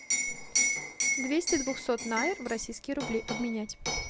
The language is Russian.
двести двухсот найр в российские рубли обменять